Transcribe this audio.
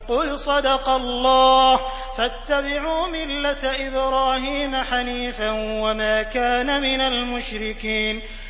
قُلْ صَدَقَ اللَّهُ ۗ فَاتَّبِعُوا مِلَّةَ إِبْرَاهِيمَ حَنِيفًا وَمَا كَانَ مِنَ الْمُشْرِكِينَ